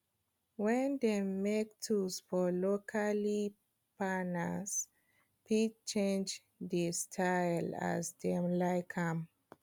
wen dem make tools for locally farners fit change dey style as dem like am